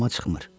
Amma çıxmır.